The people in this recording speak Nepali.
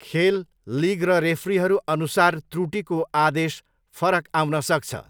खेल, लिग र रेफ्रीहरू अनुसार त्रुटिको आदेश फरक आउन सक्छ।